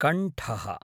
कण्ठः